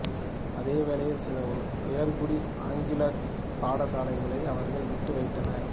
அதே வேளையில் சில உயர்குடி ஆங்கிலிக்கப் பாடசாலைகளை அவர்கள் விட்டு வைத்தனர்